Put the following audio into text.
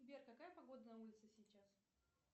сбер какая погода на улице сейчас